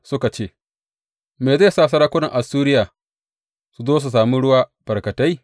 Suka ce Me zai sa sarakunan Assuriya su zo su sami ruwa barkatai?